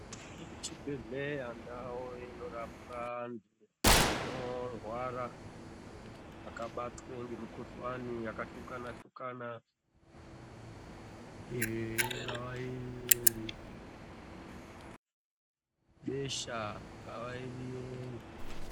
Muchibhedhlera mune ndau inorapwa antu anorwara vabatwe nemikuhlani yakashokana shokana ingava iribesha ingava iriyei.